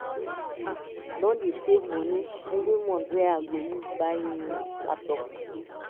I don dey save moni every month wey I go use buy new laptop.